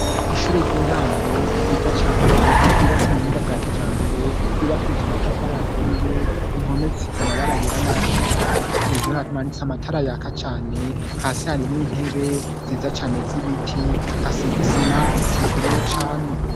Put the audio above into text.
Ishure ry'intango ryiza cane ,ryubatse mu buhinga bwakijambere, ryubakishije amatafari aturiye, impome zisize amabara yera, nay'atukura, hejuru hamanitse amatara yaka cane ,hasi harimwo intebe ziza cane z'ibiti ,hasi hasize isima rikomeye cane.